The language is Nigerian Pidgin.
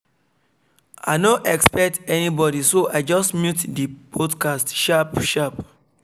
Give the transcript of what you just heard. i no expect anybody so i just mute the podcast sharp sharp